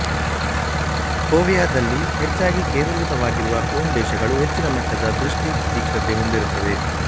ಫೋವಿಯಾದಲ್ಲಿ ಹೆಚ್ಚಾಗಿ ಕೇಂದ್ರೀಕೃತವಾಗಿರುವ ಕೋನ್ ಕೋಶಗಳು ಹೆಚ್ಚಿನ ಮಟ್ಟದ ದೃಷ್ಟಿ ತೀಕ್ಷ್ಣತೆ ಹೊಂದಿರುತ್ತವೆ